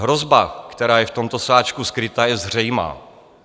Hrozba, která je v tomto sáčku skryta, je zřejmá.